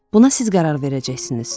Buna siz qərar verəcəksiniz.